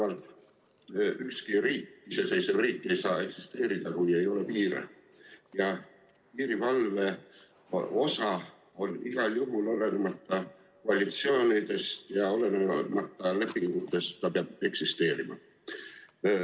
Aga ükski riik, iseseisev riik ei saa eksisteerida, kui ei ole piire ja piirivalve peab igal juhul, olenemata koalitsioonidest ja olenemata lepingutest, eksisteerima.